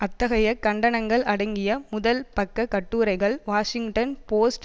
அத்தகைய கண்டனங்கள் அடங்கிய முதல் பக்க கட்டுரைகள் வாஷிங்டன் போஸ்ட்